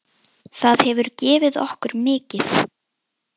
Það hefur gefið okkur mikið.